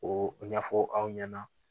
O ɲɛfɔ aw ɲɛna